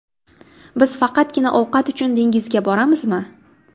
Biz faqatgina ovqat uchun dengizga boramizmi?